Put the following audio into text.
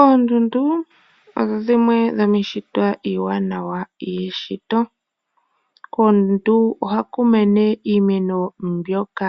Oondundu odho dhimwe dho miishitwa iiwanawa yeshito. Koondundu ohaku mene iimeno mbyoka